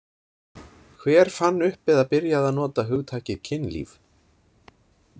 Hver fann upp eða byrjaði að nota hugtakið kynlíf?